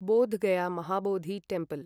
Bodh Gaya Mahabodhi temple